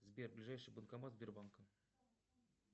сбер ближайший банкомат сбербанка